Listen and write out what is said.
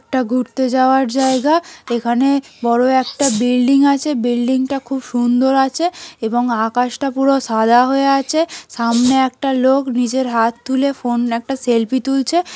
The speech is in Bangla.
এটা ঘুরতে যাওয়ার জায়গা এখানে বড়ো একটা বিল্ডিং আছে। বিল্ডিং -টা খুব সুন্দর আছে এবং আকাশটা পুরো সাদা হয়ে আছে । সামনে একটা লোক নিজের হাত তুলে ফোন একটা সেলফি তুলছে ।